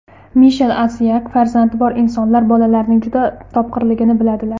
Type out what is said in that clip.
Mishel Asiyag: Farzandi bor insonlar bolalarning juda topqirligini biladilar.